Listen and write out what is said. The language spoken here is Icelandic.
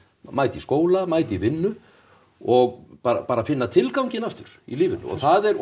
mæta í skóla mæta í vinnu og bara bara finna tilganginn aftur í lífinu og það er og